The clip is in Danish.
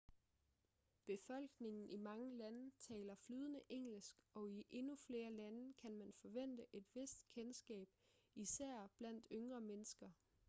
befolkningen i mange lande taler flydende engelsk og i endnu flere lande kan man forvente et vist kendskab især blandt yngre mennesker